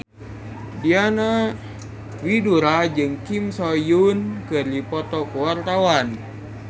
Diana Widoera jeung Kim So Hyun keur dipoto ku wartawan